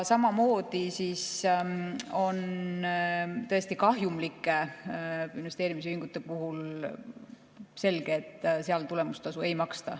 Samamoodi on tõesti kahjumlike investeerimisühingute puhul selge, et seal tulemustasu ei maksta.